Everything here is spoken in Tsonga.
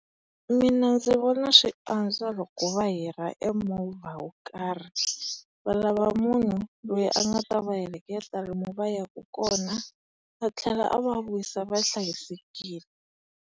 Mina ndzi vona swi antswa loko va hira e movha wo karhi. Valava munhu loyi a nga ta va heleketa lomu va yaka kona, a tlhela a va vuyisa va hlayisekile.